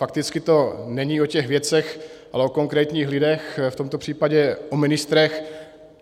Fakticky to není o těch věcech, ale o konkrétních lidech, v tomto případě o ministrech.